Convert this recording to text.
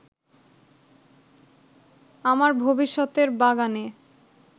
আমার ভবিষ্যতের বাগানে